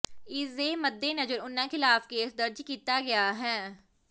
ਇਸ ਦੇ ਮੱਦੇਨਜ਼ਰ ਉਨ੍ਹਾਂ ਖਿਲਾਫ ਕੇਸ ਦਰਜ ਕੀਤਾ ਗਿਆ ਹੈ